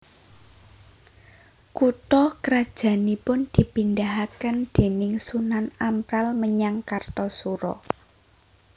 Kutha krajannipun dipindahaken déning Sunan Amral menyang Kartasura